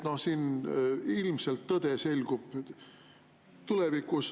Siin ilmselt tõde selgub tulevikus.